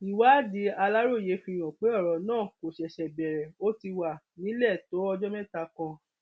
ìwádìí aláròye fìhàn pé ọrọ náà kò ṣẹṣẹ bẹrẹ ó ti wà nílẹ tó ọjọ mẹta kan